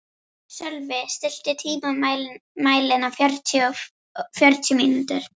Sölvi, stilltu tímamælinn á fjörutíu mínútur.